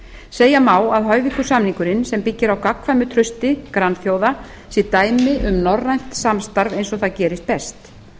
segja má að hoyvíkur samningurinn sem byggir á gagnkvæmu trausti grannþjóða sé dæmi um norrænt samstarf eins og það gerist best